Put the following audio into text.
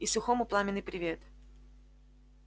и сухому пламенный привет